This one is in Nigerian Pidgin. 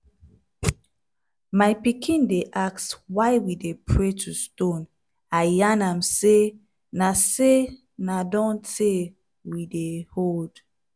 my pikin dey ask why we dey pray to stone. i yan am say na say na don tey we dey hold.